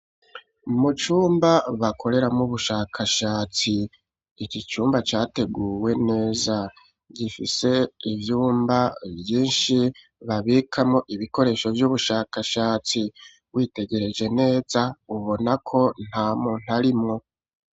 Mu cumba bakoreramwo ubushakashatsi iki cumba categuwe neza gifise ivyumba vyinshi babikamo ibikoresho vy'ubushakashatsi witegereje neza ubona ko nta muntarimwo.